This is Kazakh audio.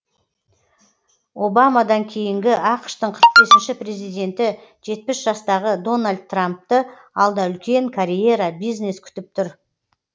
обамадан кейінгі ақш тың қырық бесінші президенті жетпіс жастағы дональд трампты алда үлкен карьера бизнес күтіп тұр